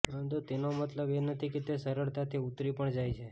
પરંતુ તેનો મતલબ એ નથી કે તે સરળતાથી ઉતરી પણ જાય છે